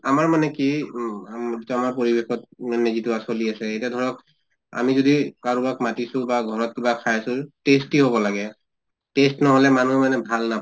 আমাৰ মানে কি উম পৰিবেশত মানে যিটো আ চলি আছে এতিয়া ধৰক আমি যদি কাৰোবাৰ মাতিছো বা ঘৰত কিবা খাইছো tasty হʼব লাগে। taste নহʼলে মানুহ মানে ভাল না